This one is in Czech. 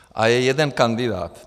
A je jeden kandidát.